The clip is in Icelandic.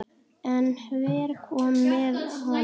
En hver kom með honum?